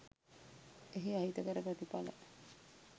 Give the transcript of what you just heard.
එහි අහිතකර ප්‍රතිඵල